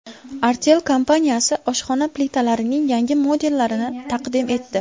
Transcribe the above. Artel kompaniyasi oshxona plitalarining yangi modellarini taqdim etdi.